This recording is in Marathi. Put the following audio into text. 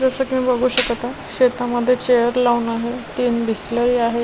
जस की मी बघू शकता शेतामध्ये चेअर लावून आहे तीन बिस्लरी आहे.